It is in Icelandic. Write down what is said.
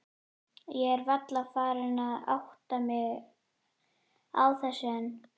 Ég er varla farin að átta mig á þessu enn.